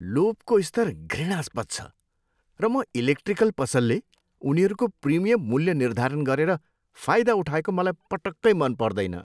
लोभको स्तर घृणास्पद छ, र म इलेक्ट्रिकल पसलले उनीहरूको प्रिमियम मूल्य निर्धारण गरेर फाइदा उठाएको मलाई पटक्कै मन पर्दैन।